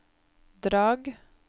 Drag